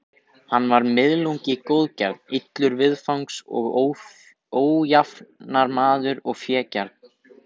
Hann var miðlungi góðgjarn, illur viðfangs og ójafnaðarmaður og fégjarn.